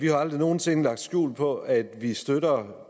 jo aldrig nogen sinde lagt skjul på at vi støtter